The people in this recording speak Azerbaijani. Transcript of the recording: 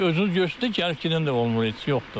Özünüz görürsünüz də gəlib gedən də olmur heç, yoxdur.